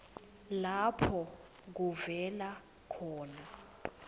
lapho kuvela khona